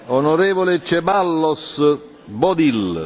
Onorevole Ceballos Bodil.